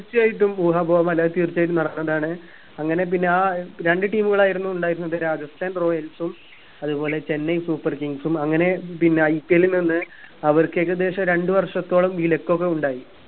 തീർച്ചയായിട്ടും ഊഹാപോഹമല്ല അത് തീർച്ചയായിട്ടും നടന്നതാണ് അങ്ങനെ പിന്നെ ആ രണ്ട് team കാലായിരുന്നു ഉണ്ടായിരുന്നത് രാജസ്ഥാൻ royals ഉമ്മത് പോലെ ചെന്നൈ super kings ഉം അങ്ങനെ പിന്നെ IPL നന്നെ അവർക്ക് ഏകദേശം രണ്ടു വർഷത്തോളം വിലക്കൊക്കെ ഉണ്ടായി